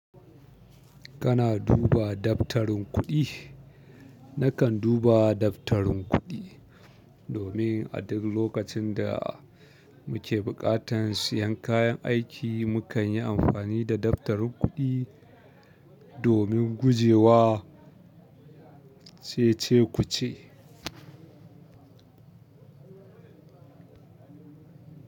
Kana duba daftarin kuɗi? Nakan duba daftarin kuɗi domin a duk lokacin da muke buƙatan siyan kayan aiki, mukanyi amfani da daftarin kuɗi domin guje wa cece-kuce.